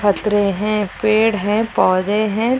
पथरे हैं पेड़ हैं पौधे हैं।